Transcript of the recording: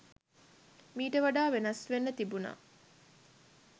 මීට වඩා වෙනස් වෙන්න තිබුණා.